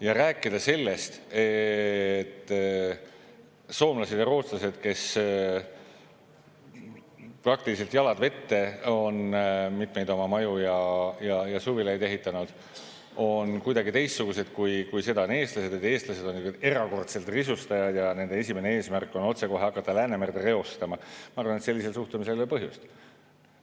Ja rääkida sellest, et soomlased ja rootslased, kes praktiliselt nii-öelda jalad vette on mitmeid oma maju ja suvilaid ehitanud, on kuidagi teistsugused kui eestlased ja et eestlased on ühed erakordsed risustajad ja nende esimene eesmärk on otsekohe hakata Läänemerd reostama – ma arvan, et sellisel suhtumisel ei ole põhjust.